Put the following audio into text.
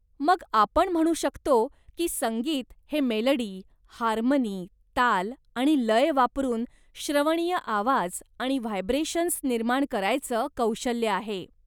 मग आपण म्हणू शकतो की, संगीत हे मेलडी, हार्मनी, ताल आणि लय वापरून श्रवणीय आवाज आणि व्हायब्रेशन्स निर्माण करायचं कौशल्य आहे.